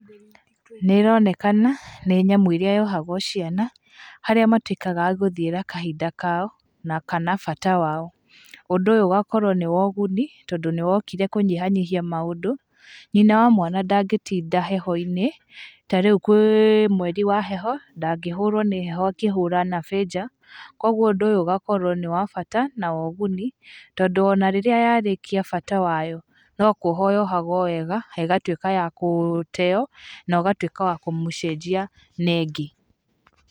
Nĩ ĩronekana nĩ nyamũ ĩrĩa yohagwo ciana, harĩa matuĩkaga agũthiĩra kahinda kao na kana bata wao, ũndũ ũyũ ũgakorwo nĩ woguni, tondũ nĩ wokire kũnyihanyihia maũndũ, nyina wa mwana ndangĩtinda heho-inĩ, ta rĩu kwĩ mweri wa heho, ndangĩhũrwo nĩ heho akĩhũra nabĩ nja, koguo ũndũ ũyũ ũgakorwo nĩ wabata, na wa ũguni, tondũ ona rĩrĩa yarĩkia bata wayo, no kuohwo yohagwo wega, ĩgatuĩka ya gũteo, na ũgatuĩkawa kũmũcenjia na ĩngĩ.